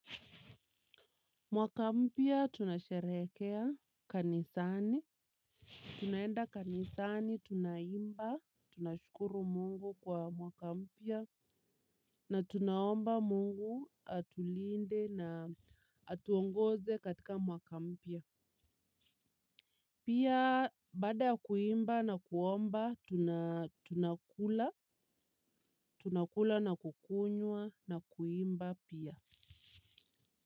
Mwaka mpya tunasherehekea kanisani. Tunaenda kanisani tunaimba. Tunashukuru mungu kwa mwaka mpya na tunaomba mungu atulinde na atuongoze katika mwakampya. Pia baada ya kuimba na kuomba tunakula. Tunakula na kukunywa na kuimba pia.